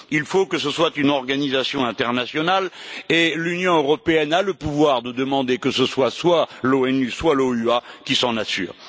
Il faut que ce soit une organisation internationale, et l'Union européenne a le pouvoir de demander que ce soit l'ONU ou l'OUA qui s'en assure.